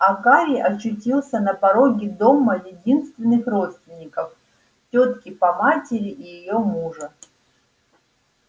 а гарри очутился на пороге дома единственных родственников тётки по матери и её мужа